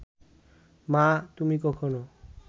মা, তুমি কখনো